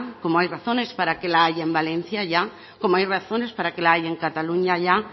como hay razones para que la haya en valencia ya como hay razones para que la haya en cataluña ya